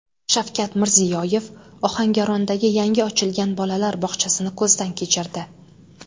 Shavkat Mirziyoyev Ohangarondagi yangi ochilgan bolalar bog‘chasini ko‘zdan kechirdi.